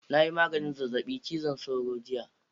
Na yi maganin zazzabin cizon sauro jiya